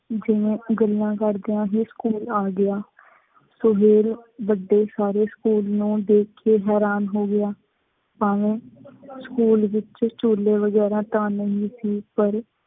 ਜਿਵੇਂ ਗੱਲਾਂ ਕਰਦਿਆਂ ਹੀ ਸਕੂਲ ਆ ਗਿਆ ਤੇ ਫੇਰ ਵੱਡੇ ਸਾਰੇ ਸਕੂਲ ਨੂੰ ਦੇਖ ਕੇ ਹੈਰਾਨ ਹੋ ਗਿਆ। ਭਾਵੇ ਸਕੂਲ ਵਿਚ ਝੁੱਲੇ ਵਗੈਰਾ ਤਾਂ ਨਹੀਂ ਸੀ ਪਰ